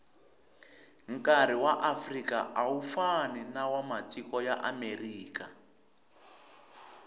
nkari waafrika awufani nawamatiko yaamerika